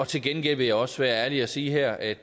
til gengæld vil jeg også være ærlig og sige her at